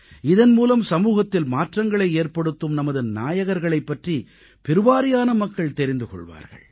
இதன் மூலம் சமூகத்தில் மாற்றங்களை ஏற்படுத்தும் நமது நாயகர்களைப் பற்றி பெருவாரியான மக்கள் தெரிந்து கொள்வார்கள்